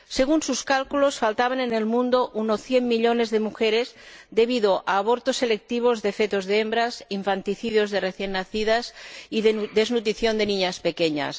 Según sus cálculos, faltaban en el mundo unos 100 millones de mujeres debido a abortos selectivos de fetos de hembras, infanticidios de recién nacidas y desnutrición de niñas pequeñas.